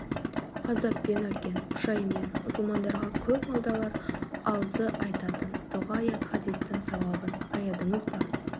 ғазаппен өлген пұшайман мұсылмандарға көп молдалар аузы айтатын дұға аят хадистің сауабын аядыңыз ба